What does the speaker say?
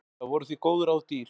Það voru því góð ráð dýr.